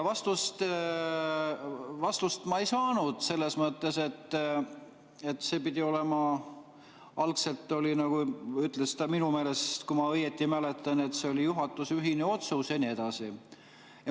Vastust ma ei saanud, selles mõttes, et algselt see oli, nagu ta minu meelest ütles, kui ma õieti mäletan, juhatuse ühine otsus ja nii edasi.